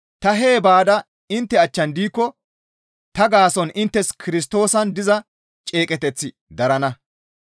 Ta hee baada intte achchan de7ikko ta gaason inttes Kirstoosan diza ceeqeteththi darana.